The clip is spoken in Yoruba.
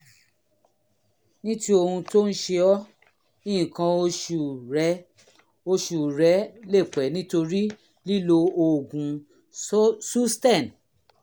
ní ti ohun tó ń ṣe ọ́ nǹkan oṣù rẹ oṣù rẹ lè pẹ́ nítorí lílo oògùn susten